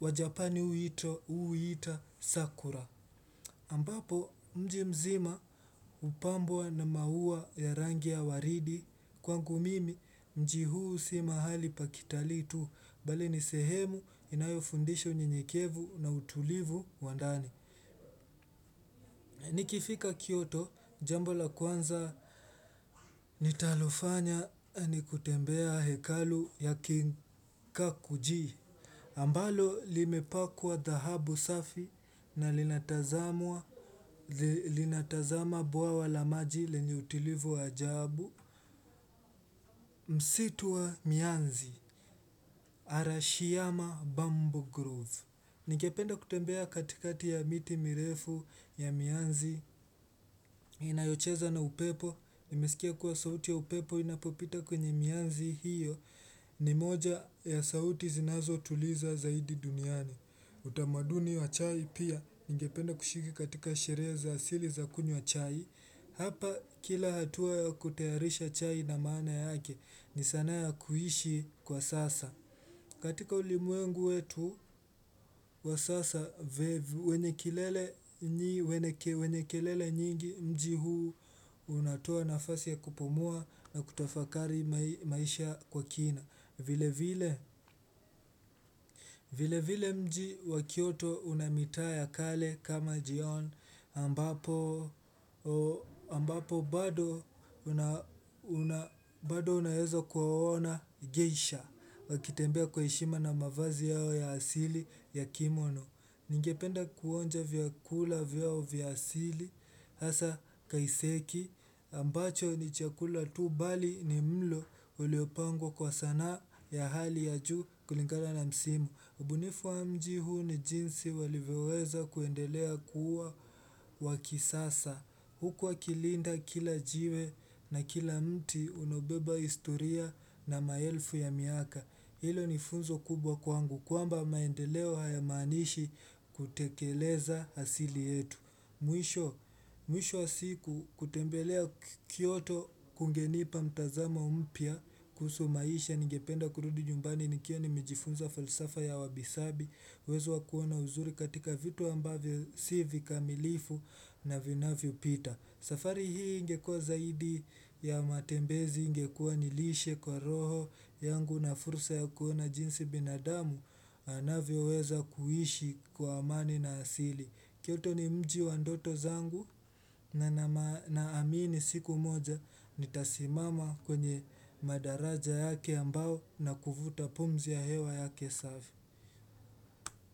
Wa japani huu huita, sakura. Ambapo mji mzima hupambwa na maua ya rangi ya waridi. Kwangu mimi mji huu si mahali pa kitalii tu. Bali ni sehemu inayofundisha unyenyekevu na utulivu wa ndani. Nikifika Kyoto, jambo la kwanza nitalofanya ni kutembea hekalu ya King Kakuji. Ambalo limepakwa dhahabu safi na linatazama bwawa la maji lenye utulivu ajabu. Msitu wa Mianzi, Arashiyama Bambo Grove. Ningependa kutembea katikati ya miti mirefu ya mianzi inayocheza na upepo. Nimesikia kuwa sauti ya upepo inapopita kwenye mianzi hiyo ni moja ya sauti zinazotuliza zaidi duniani. Utamaduni wa chai pia ningependa kushiriki katika sherehe za asili za kunywa chai. Hapa kila hatua kutayarisha chai ina maana yake ni sanaa ya kuishi kwa sasa. Katika ulimwengu wetu wa sasa wenye kelele nyingi mji huu unatoa nafasi ya kupumua na kutafakari maisha kwa kina. Vile vile mji wa kyoto una mitaa ya kale kama jion ambapo ambapo bado unaeza kuwaona gesha wakitembea kwa heshima na mavazi yao ya asili ya kimono. Ningependa kuonja vyakula vyao vya asili hasa kaiseki ambacho ni chakula tu bali ni mlo uliopangwa kwa sanaa ya hali ya juu kulingana na msimu. Ubunifu wa mji huu ni jinsi walivyoweza kuendelea kuwa wa kisasa huku wakilinda kila jiwe na kila mti unaobeba historia na maelfu ya miaka. Hilo ni funzo kubwa kwangu kwamba maendeleo hayamaanishi kutekeleza asili yetu. Mwisho wa siku kutembelea kyoto kungenipa mtazamo mpya kuhusu maisha ningependa kurudi nyumbani nikiwa nimejifunza falsafa ya wabisabi uwezo wa kuona uzuri katika vitu ambavyo si vikamilifu na vinavyopita. Safari hii ingekuwa zaidi ya matembezi ingekuwa nilishe kwa roho yangu na fursa ya kuona jinsi binadamu anavyoweza kuishi kwa amani na asili Kyoto ni mji wa ndoto zangu na naamini siku moja nitasimama kwenye madaraja yake ambao na kuvuta pumzi ya hewa yake safi.